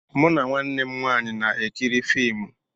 Mụ na nwanne m nwanyị na-ekiri fiimu.